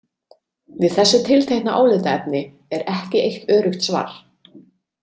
Við þessu tiltekna álitaefni er ekki eitt öruggt svar.